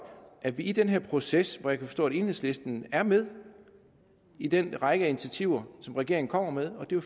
at vi i den her proces og jeg kan forstå at enhedslisten er med i den række af initiativer som regeringen kommer med og det